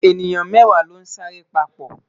eniyan mẹwa lon sa re papo